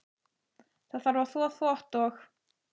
Það þarf að þvo þvott og.